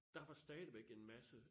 Der var stadigvæk en masse